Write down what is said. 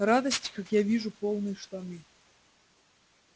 радости как я вижу полные штаны